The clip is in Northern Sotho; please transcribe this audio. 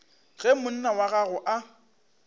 ge monna wa gagwe a